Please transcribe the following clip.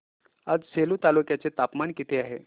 आज सेलू तालुक्या चे तापमान किती आहे